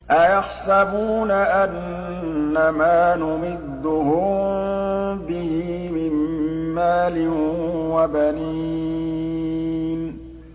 أَيَحْسَبُونَ أَنَّمَا نُمِدُّهُم بِهِ مِن مَّالٍ وَبَنِينَ